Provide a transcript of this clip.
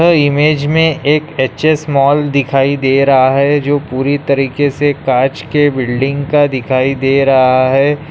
ये इमेज में एक एच.एस. मॉल दिखाई दे रहा है जो पूरी तरीके से कांच के बिल्डिंग का दिखाई दे रहा है।